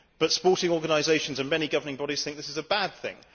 But sporting organisations and many governing bodies think this is a bad thing.